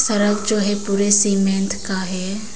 सड़क जो है पूरे सीमेंट का है।